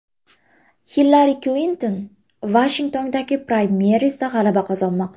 Hillari Klinton Vashingtondagi praymerizda g‘alaba qozonmoqda.